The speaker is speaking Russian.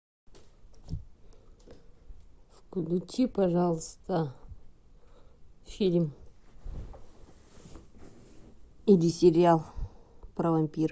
включи пожалуйста фильм или сериал про вампиров